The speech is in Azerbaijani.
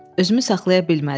Özümü saxlaya bilmədim.